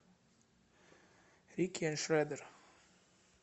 рики э шредер